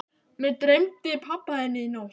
Mig dreymdi pabba þinn í nótt.